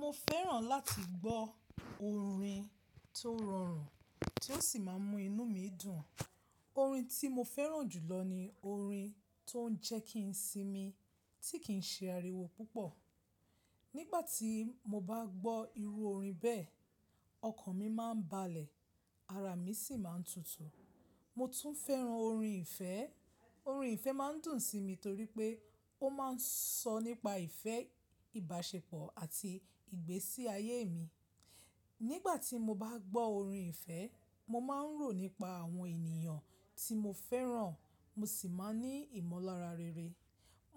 Mo fẹ́ràn láti gbọ́ orin tó rọrùn tí ó sì máa ń mú inú mi dùn. Orin tí mo fẹ́ràn jùlọ ni orin tó ń jẹ́ kí n sinmi tí kì ń ṣe àríwó púpọ̀. Nígbà tí mo bá gbọ́ irú orin bẹ́ẹ̀, ọkàn mi máa ń balẹ̀, ara mi sì máa ń tutù. Mo tún fẹ́ràn orin ìfẹ́. Orin ìfẹ́ máa ń dùn sí mi torí pé ó máa ń sọ nípa ìfẹ́, ìbáṣepọ̀ àti ìgbésí ayé mi. Nígbà tí mo bá gbọ́ orin ìfẹ́, mo máa ń rò nípa àwọn ènìyàn tí mo fẹ́ràn, mo sì máa ní ìmọ̀lára rere.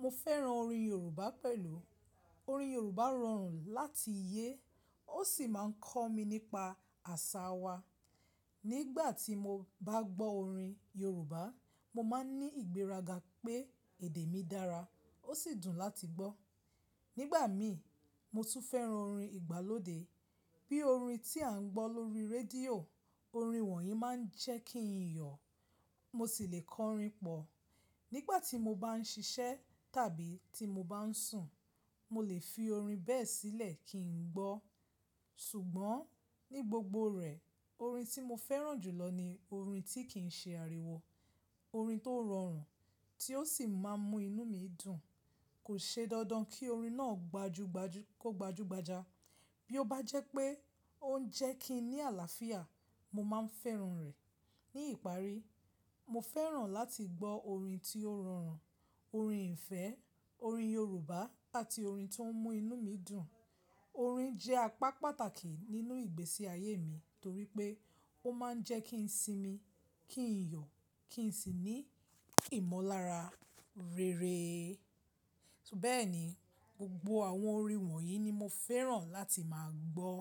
Mo fẹ́ràn orin Yorùbá pẹ̀lú. Orin Yorùbá rọrùn láti yé, ó sì máa ń kọ́ mi nípa àṣà wa. Nígbà tí mo bá gbọ́ orin Yorùbá, mo máa ń ní ìgbéraga pé èdè mi dára, ó sì dùn láti gbọ́. Nígbà mi, mo tún fẹ́ràn orin ìgbàlódé bí orin tí à ń gbọ́ lórí rédíò. Orin wọ̀nyí máa ń jẹ́ kí n yọ̀, mo sì lè kọ orin pọ̀. Nígbà tí mo bá ń ṣiṣẹ́ tàbí tí mo bá ń sùn, mo lè fi orin bẹ́ẹ̀ sílẹ̀ kí n gbọ́. Ṣùgbọ́n ní gbogbo rẹ̀, orin tí mo fẹ́ràn jùlọ ni orin tí kì ń ṣe àríwó, orin tó rọrùn tí ó sì máa ń mú inú mi dùn. Kò ṣe dandan kí orin náà gbajúgbajà. Bí ó bá jẹ́ pé ó ń jẹ́ kí n ní àlàáfíà, mo máa ń fẹ́ràn rẹ̀. Ní ìparí, mo fẹ́ràn láti gbọ́ orin tí ó rọrùn, orin ìfẹ́, orin Yorùbá àti orin tó ń mú inú mi dùn. Orin jẹ́ apá pàtàkì nínú ìgbésí ayé mi torí pé ó máa ń jẹ́ kí n sinmi, kí n yọ̀, kí n sì ní ìmọ̀lára rere. Bẹ́ẹ̀ni, gbogbo àwọn orin wọ̀nyí ni mo fẹ́ràn láti máa gbọ́.